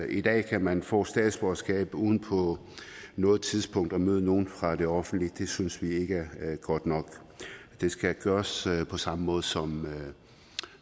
i dag kan man få statsborgerskab uden på noget tidspunkt at møde nogen fra det offentlige det synes vi ikke er godt nok det skal gøres på samme måde som